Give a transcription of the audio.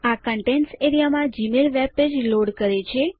આ contents A R E A માં Gmail webpage load કરે છે